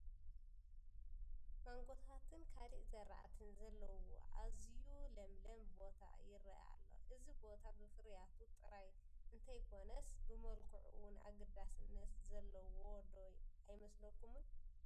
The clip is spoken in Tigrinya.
ማንጎታትን ካልእ ዝራእትን ዘለዉዎ ኣዝዩ ለምለም ቦታ ይርአ ኣሎ፡፡ እዚ ቦታ ብፍርያቱ ጥራሕ እንተይኮነስ ብመልክዑ እውን ኣገዳስነት ዘለዎ ዶ ኣይመስለኩምን?